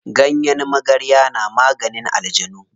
Ganyen magarya na maganin aljanu.